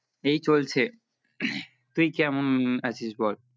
এই চলছে তুই কেমন আছিস বল